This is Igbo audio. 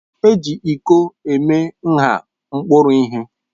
Eji ịko eme nha mkpuru ihe.